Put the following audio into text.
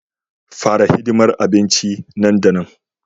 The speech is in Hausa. Fara hidimar abincin nan da nan